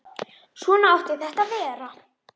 Svona átti þetta að vera.